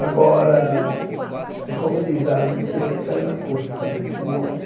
Agora, é como dizem, a mentira tem perna curta, né? Eu não